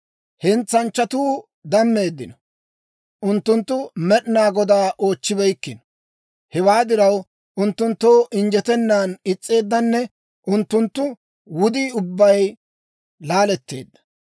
Hentsanchchatuu dammeeddino; unttunttu Med'inaa Godaa oochchibeykkino. Hewaa diraw, unttunttoo injjetennan is's'eeddanne unttunttu wudii ubbay laaletteedda.